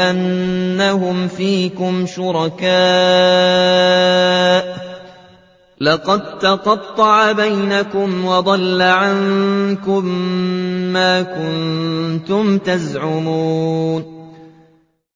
أَنَّهُمْ فِيكُمْ شُرَكَاءُ ۚ لَقَد تَّقَطَّعَ بَيْنَكُمْ وَضَلَّ عَنكُم مَّا كُنتُمْ تَزْعُمُونَ